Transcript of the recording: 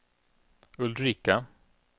Ulrika